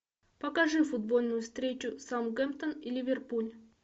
покажи футбольную встречу саутгемптон и ливерпуль